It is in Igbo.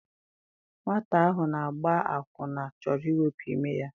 Nwata ahụ na-agba akwụna chọrọ iwepụ ime ya.